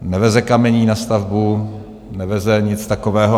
Neveze kamení na stavbu, neveze nic takového.